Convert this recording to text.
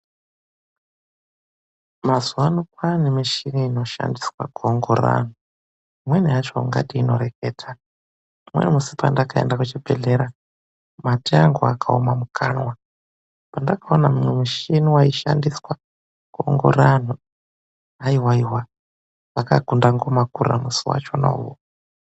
Mazuwa ano kwaane michini inoshandiswa kuongorora anthu. Imweni yacho ingati inoreketa. Umweni musi pandakaenda kuchibhedhlera, mate angu akaoma mukanwa. Pandakaona umwe muchini waishandiswa kuongorora anthu. Haiwaiwa, zvakakunda ngoma kurira musi wachona uwowo.